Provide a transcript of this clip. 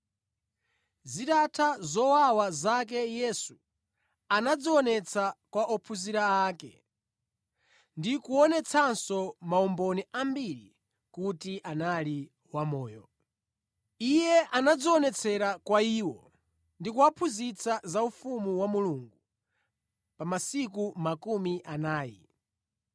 Zitatha zowawa zake Yesu anadzionetsa kwa ophunzira ake, ndi kuonetsanso maumboni ambiri kuti anali wamoyo. Iye anadzionetsera kwa iwo ndi kuwaphunzitsa za ufumu wa Mulungu pa masiku makumi anayi.